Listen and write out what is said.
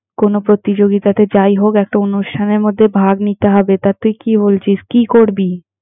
কোনো প্রতিযোগীতাতে যাই হোক একটা অনুষ্ঠানের মধ্যে ভাগ নিতে হবে, তা তুই কি বলছিস কি করবি?